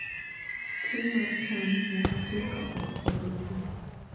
Keyo mar cham nyaka tim kapok koth ochwe.